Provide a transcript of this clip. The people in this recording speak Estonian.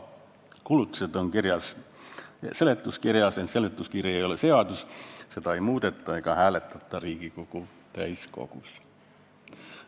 Kulutused on kirjas seletuskirjas, ent seletuskiri ei ole seadus, seda ei muudeta ega hääletata Riigikogu täiskogus.